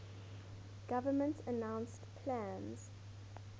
government announced plans